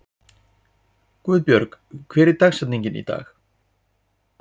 Guðbjörg, hver er dagsetningin í dag?